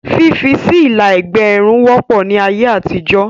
Fífi sí Ilà ẹ̀gbẹ́ Irun wọ́pọ̀ ní ayé àtijọ́